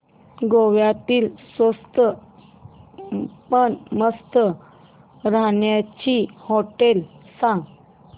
गोव्यातली स्वस्त पण मस्त राहण्याची होटेलं सांग